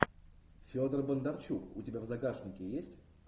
федор бондарчук у тебя в загашнике есть